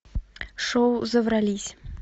шоу заврались